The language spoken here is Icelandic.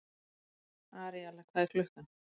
Aríella, hvað er klukkan?